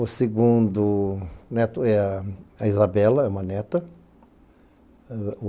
O segundo neto é a Isabela, é uma neta.